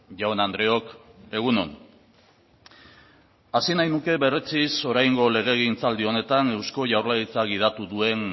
jaun andreok egun on hasi nahi nuke berretsiz oraingo legegintzaldi honetan eusko jaurlaritza gidatu duen